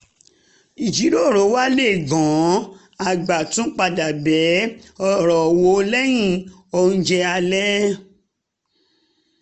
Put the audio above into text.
ìjíròrò wá le gan-an a gbà tún padà bẹ ọ̀rọ̀ wò lẹ́yìn oúnjẹ alẹ́